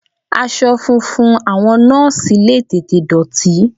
Aṣọ funfun àwọn Nọ́ọ́sì le tètè dọ̀tí.